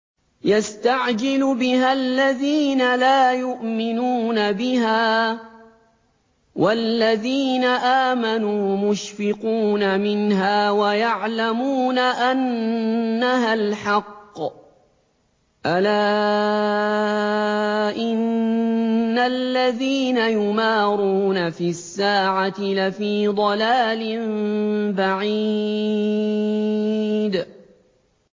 يَسْتَعْجِلُ بِهَا الَّذِينَ لَا يُؤْمِنُونَ بِهَا ۖ وَالَّذِينَ آمَنُوا مُشْفِقُونَ مِنْهَا وَيَعْلَمُونَ أَنَّهَا الْحَقُّ ۗ أَلَا إِنَّ الَّذِينَ يُمَارُونَ فِي السَّاعَةِ لَفِي ضَلَالٍ بَعِيدٍ